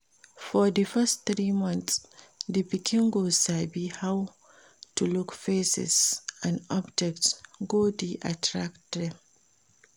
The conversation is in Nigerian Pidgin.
For di first three months di pikin go sabi how to look faces and objects go de attract dem